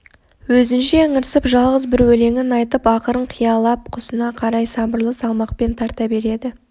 өзінше ыңырсып жалғыз бір өлеңін айтып ақырын қиялап құсына қарай сабырлы салмақпен тарта береді